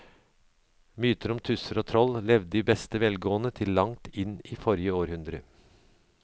Mytene om tusser og troll levde i beste velgående til langt inn i forrige århundre.